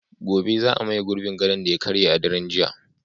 Gobe ​​za a maye gurbin gadon da ya karye a daren jiya